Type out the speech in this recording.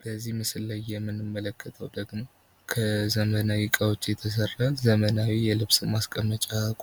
በዚህ ምስል ላይ የምንመለከተዉ ደግሞ ከዘመናዊ እቃዎች የተሰራ ዘመናዊ የልብስ